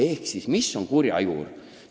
Ehk siis, mis on kurja juur?